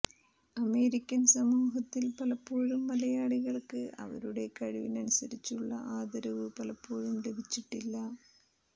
American സമൂഹത്തിൽ പലപ്പോഴും മലയാളികൾക്ക് അവരുടെ കഴിവിനനുസരിച്ചുള്ള ആദരവ് പലപ്പോഴും ലഭിച്ചിട്ടില്ല